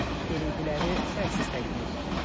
Görüntüləri şərhsiz təqdim edirik.